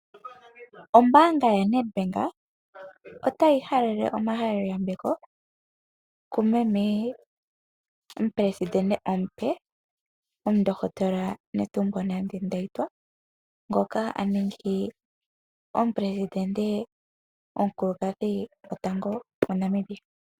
Ombaanga yoNedbank otayi halele omahaleloyambeko kumeme omupelesidente omupe omundohotola Netumbo Nandi Ndeitwah ngoka aningi omupelesidente omukulukadhi gwotango gwaNamibia.